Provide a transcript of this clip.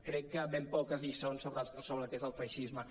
crec que ben poques lliçons sobre el que és el feixisme